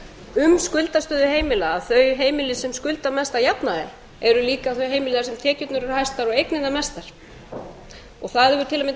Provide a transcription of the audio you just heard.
um skuldastöðu heimila að þau heimili sem skulda mest að jafnaði eru líka þau heimili þar sem tekjurnar eru hæstar og eignirnar mestar það hefur